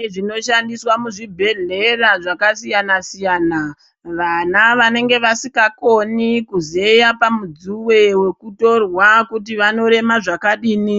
Zvintu zvinoshandiswa muzvibhedhlera zvakasiyana siyana vana vanenga vasikakoni kuzeya pamudzuwe wekutorwa kuti vanorema zvakadini